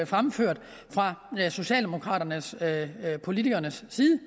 fremført fra socialdemokratiske politikeres side